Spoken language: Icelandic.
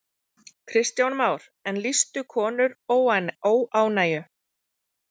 Kristján Már: En lýstu konur óánægju?